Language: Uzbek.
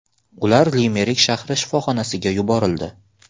Ular Limerik shahri shifoxonasiga yuborildi.